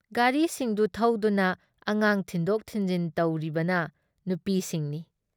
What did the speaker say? ꯒꯥꯔꯤꯁꯤꯡꯗꯨ ꯊꯧꯗꯨꯅ ꯑꯉꯥꯡ ꯊꯤꯟꯗꯣꯛ ꯊꯤꯟꯖꯤꯟ ꯇꯧꯔꯤꯕꯅ ꯅꯨꯄꯤꯁꯤꯡꯅꯤ ꯫